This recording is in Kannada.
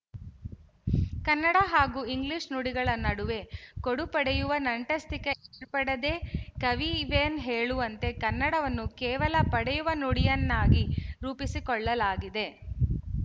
ಕನ್ನಡ ಹಾಗೂ ಇಂಗ್ಲಿಶು ನುಡಿಗಳ ನಡುವೆ ಕೊಡುಪಡೆಯುವ ನಂಟಸ್ತಿಕೆ ಏರ್ಪಡದೇ ಕೆವಿಎನ್ ಹೇಳುವಂತೆ ಕನ್ನಡವನ್ನು ಕೇವಲ ಪಡೆಯುವ ನುಡಿಯನ್ನಾಗಿ ರೂಪಿಸಿಕೊಳ್ಳಲಾಗಿದೆ